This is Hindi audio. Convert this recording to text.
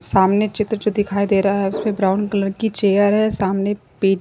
सामने चित्र जो दिखाई दे रहा है उसमें ब्राउन कलर की चेयर है सामने पीठ--